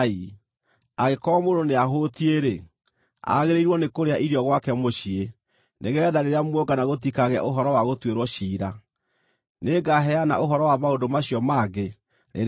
Angĩkorwo mũndũ nĩahũũtiĩ-rĩ, agĩrĩirwo nĩ kũrĩa irio gwake mũciĩ, nĩgeetha rĩrĩa muongana gũtikagĩe ũhoro wa gũtuĩrwo ciira. Nĩngaheana ũhoro wa maũndũ macio mangĩ rĩrĩa ngooka.